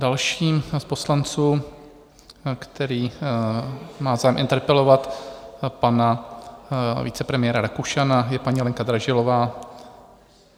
Další z poslanců, který má zájem interpelovat pana vicepremiéra Rakušana, je paní Lenka Dražilová.